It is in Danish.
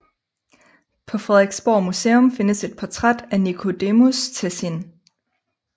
På Frederiksborg Museum findes et portræt af Nicodemus Tessin